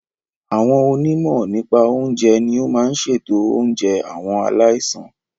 Àwọn onímọ̀ nípa oúnjẹ ní o máa n ṣètò oúnjẹ àwọn aláìsàn.